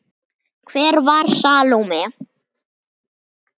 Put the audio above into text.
Hver var Salóme?